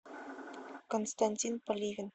константин поливин